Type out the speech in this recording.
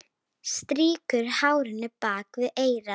Strýkur hárinu bak við eyrað.